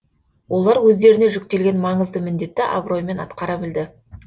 олар өздеріне жүктелген маңызды міндетті абыроймен атқара білді